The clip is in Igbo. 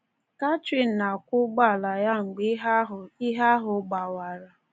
Catherine na-akwọ ụgbọala ya mgbe ihe ahụ ihe ahụ gbawara.